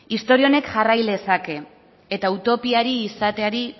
istorio honek jarrai lezake eta utopia izateari